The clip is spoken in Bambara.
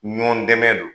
Ɲɔn dɛmɛ don